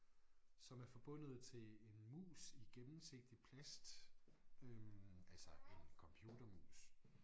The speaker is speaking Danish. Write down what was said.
Som er forbundet til en mus i gennemsigtig plast øh altså en computermus